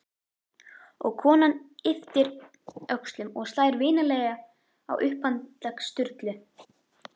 Og konan ypptir öxlum og slær vinalega á upphandlegg Sturlu.